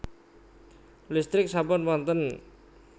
Listrik sampun wonten